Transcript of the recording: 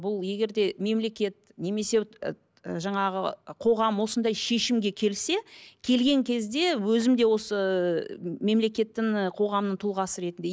бұл егер де мемлекет немесе жаңағы қоғам осындай шешімге келсе келген кезде өзім де осы мемлекеттің ы қоғамның тұлғасы ретінде